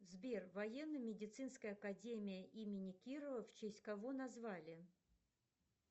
сбер военно медицинская академия имени кирова в честь кого назвали